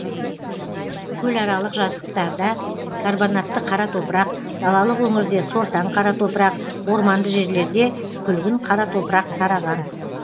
көларалық жазықтарда карбонатты қара топырақ далалық өңірде сортаң қара топырақ орманды жерлерде күлгін қара топырақ тараған